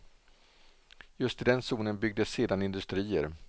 Just i den zonen byggdes sedan industrier.